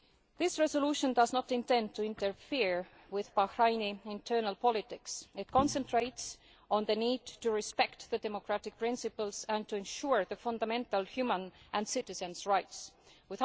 This resolution does not intend to interfere with Bahraini internal politics. It concentrates on the need to respect democratic principles and to ensure that fundamental, human and citizens' rights are upheld.